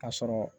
Ka sɔrɔ